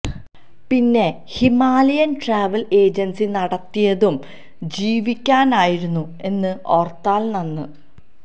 പിന്നെ Himalayan travel agency നടത്തിയതും ജീവിക്കാനായിരുന്നു എന്ന് ഓർത്താൽ നന്ന്